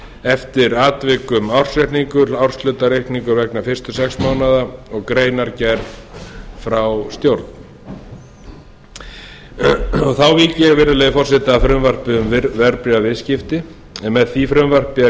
eftir atvikum ársreikningur árshlutareikningur vegna fyrstu sex mánaða og greinargerð frá stjórn þá vík ég virðulegi forseti að frumvarpi um verðbréfaviðskipti en með því frumvarpi er